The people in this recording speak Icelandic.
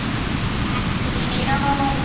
Ekki ljón.